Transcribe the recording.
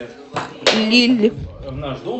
лилль